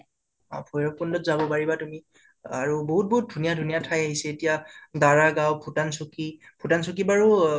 অ ভৈৰাবকুন্দত যাব পাৰিবা তুমি আৰু বাহুত বাহ্ত ধুনীয়া ধুনীয়া ঠাই আহিছে এতিয়া - বাৰাহ গাওঁ, ভূটান চৌকি । ভূটান চৌকি বাৰু ও